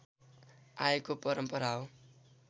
आएको परम्परा हो